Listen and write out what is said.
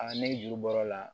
ne juru bɔr'o la